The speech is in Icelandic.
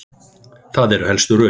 Það eru helstu rökin.